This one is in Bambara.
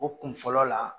O kun fɔlɔ la